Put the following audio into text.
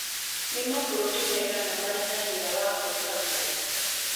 nĩ mabũrũri maigana marĩ na ciira wa kũũragwo